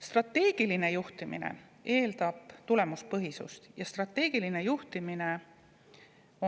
Strateegiline juhtimine eeldab tulemuspõhisust ja strateegiline juhtimine